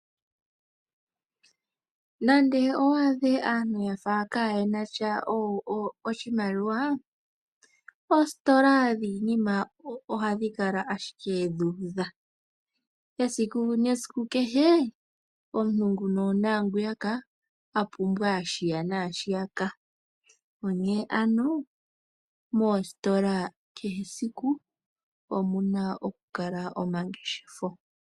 Nande owaadhe aantu yafa kaayena sha oshimaliwa, oositola dhiinima ohadhi kala ashike dhuudha. Esiku nesiku kehe, omuntu nguno naangwiyaka a pumbwa shiya naashiyaka. Onkene ano moositola kehe esiku omu na oku kala mu na omangeshefelo.